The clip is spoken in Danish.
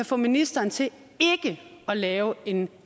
få ministeren til ikke at lave en